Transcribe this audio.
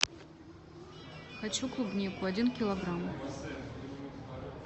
хочу клубнику один килограмм